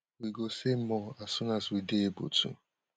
we go say more as soon as we dey able to